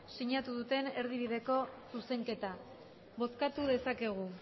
sinatu duten erdibideko zuzenketa bozkatu dezakegu